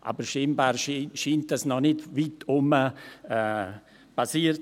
Aber dies scheint noch nicht weit herum geschehen zu sein.